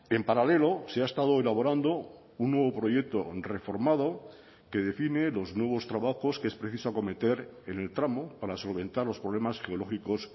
en paralelo se ha estado elaborando un nuevo proyecto reformado que define los nuevos trabajos que es preciso acometer en el tramo para solventar los problemas geológicos